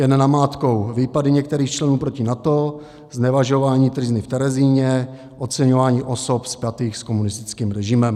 Jen namátkou - výpady některých členů proti NATO, znevažování tryzny v Terezíně, oceňování osob spjatých s komunistickým režimem.